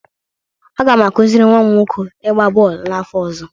Aga m akụziri nwa m nwoke ịgba bọọlụ n'afọ ọzọ